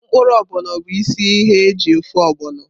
Mkpụrụ Ogbono bụ isi ihe eji ofe ogbono.